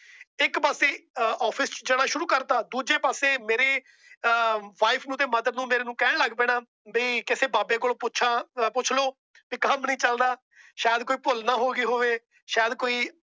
ਇੱਕ ਪਾਸੇ OFFICE ਜਾਣਾ ਸ਼ੁਰੂ ਕਰਤਾ ਦੂਜੇ ਪਾਸੇ ਮੇਰੀ WIFE ਨੂੰ ਤੇ MOTHER ਨੂੰ ਕਹਿਣ ਲੱਗ ਪੈਣਾ। ਕਿ ਕਿਸੇ ਬਾਬੇ ਕੋਲੋਂ ਪੁੱਛਾਂ ਪੁੱਛ ਲੋ ਵੀ ਕੰਮ ਨਹੀਂ ਚਲਦਾ। ਸ਼ਾਇਦ ਕੋਈ ਭੁੱਲ ਨਾ ਹੋ ਗਈ ਹੋਵੇ। ਸ਼ਾਇਦ ਕੋਈ